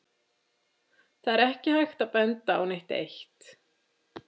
Það er ekki hægt að benda á neitt eitt.